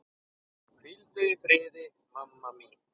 Hvíldu í friði, mamma mín.